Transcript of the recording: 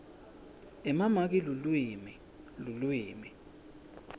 emamaki lulwimi lulwimi